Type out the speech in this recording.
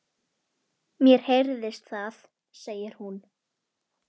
Brúðkaupið var haldið fyrir norðan.